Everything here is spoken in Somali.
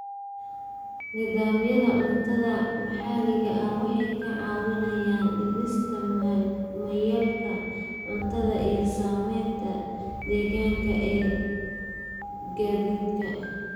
Nidaamyada cuntada maxalliga ah waxay kaa caawinayaan dhimista mayalka cuntada iyo saameynta deegaanka ee gaadiidka.